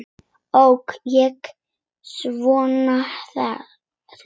Ók ég svona hratt?